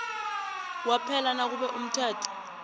kwaphela nakube umthetho